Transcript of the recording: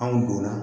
Anw donna